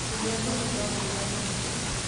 Kũnyua thumu no kũrage mũndũ.